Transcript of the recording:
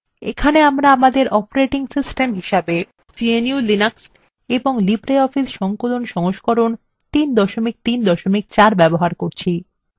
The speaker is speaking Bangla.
এখানে আমরা আমাদের operating system হিসেবে gnu/linux এবং libreoffice সংকলন সংস্করণ 334 ব্যবহার করছি